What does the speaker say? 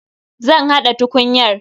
Zan haɗa tukunyar.